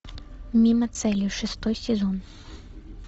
мимо цели шестой сезон